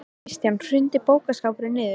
Kristján: Hrundi bókaskápur niður?